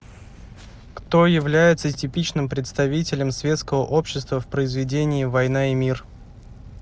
кто является типичным представителем светского общества в произведении война и мир